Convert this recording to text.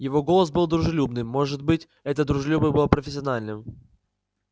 его голос был дружелюбным может быть это дружелюбие было профессиональным